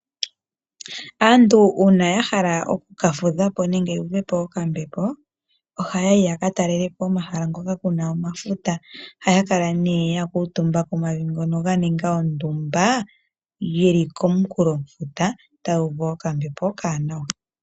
Aantu uuna yahala okukafudhapo nenge yuuvepo okambepo , ohaya yi yakataalelepo omahala hoka kuna omafuta . Ohaya kala yakuutumba komavi ngono ganinga ondumba yili komukulofuta, yo taya uvu okambepo okawanawa.